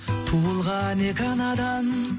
туылған екі анадан